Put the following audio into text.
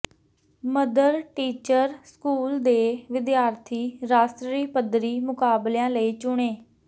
mother teacher school ਦੇ ਵਿਦਿਆਰਥੀ ਰਾਸ਼ਟਰੀ ਪੱਧਰੀ ਮੁਕਾਬਲਿਆਂ ਲਈ ਚੁਣੇ